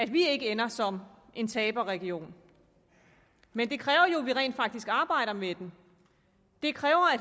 vi ikke ender som en taberregion men det kræver jo at vi rent faktisk arbejder med den det kræver at